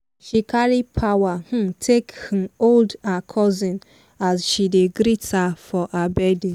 she carry power um take um hold her cousin as she dey greet her for her birthday.